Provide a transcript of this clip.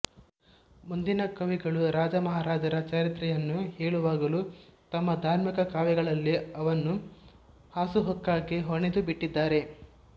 ಮುಂದಿನ ಕವಿಗಳು ರಾಜಮಹಾರಾಜರ ಚರಿತ್ರೆಯನ್ನು ಹೇಳುವಾಗಲೂ ತಮ್ಮ ಧಾರ್ಮಿಕ ಕಾವ್ಯಗಳಲ್ಲಿ ಅವನ್ನು ಹಾಸುಹೊಕ್ಕಾಗಿ ಹೆಣೆದುಬಿಟ್ಟಿದ್ದಾರೆ